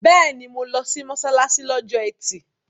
Bẹ́ẹ̀ni, mo lọ sí mọ́ṣáláṣí lọ́jọ́ ẹtì